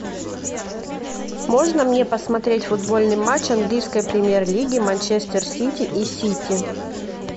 можно мне посмотреть футбольный матч английской премьер лиги манчестер сити и сити